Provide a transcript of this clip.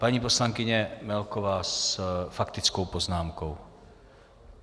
Paní poslankyně Melková s faktickou poznámkou.